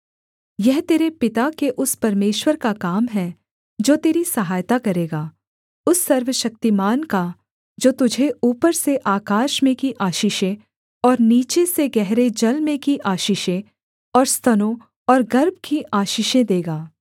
यह तेरे पिता के उस परमेश्वर का काम है जो तेरी सहायता करेगा उस सर्वशक्तिमान का जो तुझे ऊपर से आकाश में की आशीषें और नीचे से गहरे जल में की आशीषें और स्तनों और गर्भ की आशीषें देगा